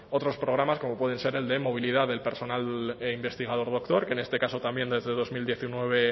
otros programas como pueden ser el de movilidad del personal e investigador doctor que en este caso también desde el dos mil diecinueve